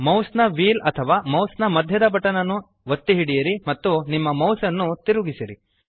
mouse ನ wheel ಅಥವಾ mouse ನ ಮಧ್ಯದ ಬಟನ್ ನ್ನು ಒತ್ತಿ ಹಿಡಿಯಿರಿ ಮತ್ತು ನಿಮ್ಮ ಮೌಸ್ ನ್ನು ತಿರುಗಿಸಿರಿ